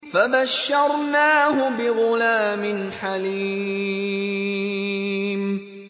فَبَشَّرْنَاهُ بِغُلَامٍ حَلِيمٍ